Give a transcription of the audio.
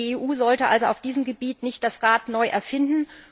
Die EU sollte also auf diesem Gebiet nicht das Rad neu erfinden.